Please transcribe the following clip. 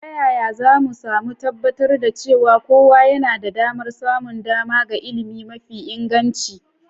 Ta yaya za mu tabbatar da cewa kowa yana da damar samun dama ga ilimi mafi inganci?